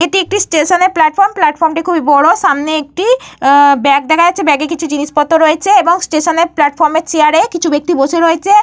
এটি একটি স্টেশনের প্লাটফর্ম । প্লাটফর্মটি খুবই বড়। সামনে একটি ব্যাগ দেখা যাচ্ছে। ব্যাগে কিছু জিনিসপত্র রয়েছে এবং স্টেশনের প্লাটফর্মের চেয়ার -এ কিছু ব্যক্তি বসে রয়েছে।